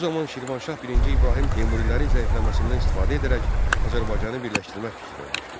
Bu zaman Şirvanşah birinci İbrahim Teymurilərin zəifləməsindən istifadə edərək Azərbaycanı birləşdirmək fikrinə düşdü.